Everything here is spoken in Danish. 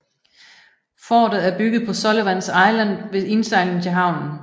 Fortet er bygget på Sullivans Island ved indsejlingen til havnen